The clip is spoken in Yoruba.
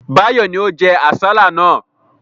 Báyọ̀ ni ó jẹ àsálà náà.